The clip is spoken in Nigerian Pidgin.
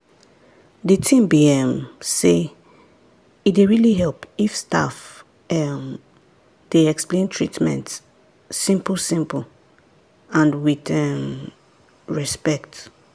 the thing be um sey e dey really help if staff um dey explain treatment simple-simple and with um respect.